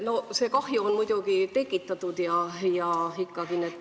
No see kahju on muidugi tekitatud.